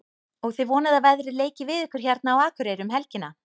Og þið vonið að veðrið leiki við ykkur hérna á Akureyri um helgina?